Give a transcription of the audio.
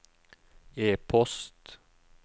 e-post